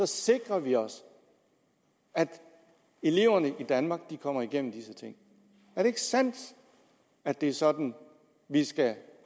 sikrer vi os at eleverne i danmark kommer igennem disse ting er det ikke sandt at det er sådan vi skal